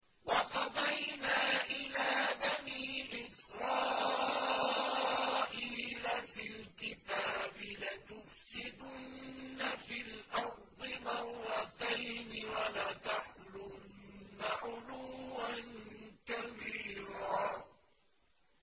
وَقَضَيْنَا إِلَىٰ بَنِي إِسْرَائِيلَ فِي الْكِتَابِ لَتُفْسِدُنَّ فِي الْأَرْضِ مَرَّتَيْنِ وَلَتَعْلُنَّ عُلُوًّا كَبِيرًا